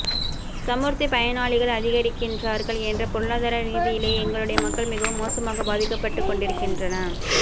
சமுர்த்திப் பயனாளிகள் அதிகரிக்கின்றார்கள் என்றால் பொருளாதார ரீதியிலே எங்களுடைய மக்கள் மிகவும் மோசமாக பாதிக்கப்பட்டுக்கொண்டிருக்கின்